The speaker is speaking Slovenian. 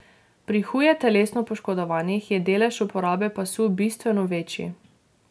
Pri huje telesno poškodovanih je delež uporabe pasu bistveno večji.